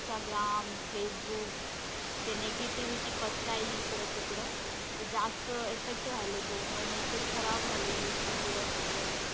जास्त Instagram, Facebook ते negativity पसरली इकडं तिकडं. ते जास्त effect व्हायलंय brain वर मग ते खराब व्हायलंय youth इकडं तिकडं.